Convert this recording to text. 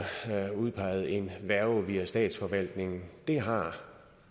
udpeget en værge via statsforvaltningen det har